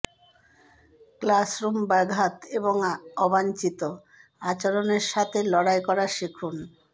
classroom ব্যাঘাত এবং অবাঞ্ছিত আচরণের সাথে লড়াই করা শিখুন